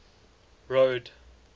road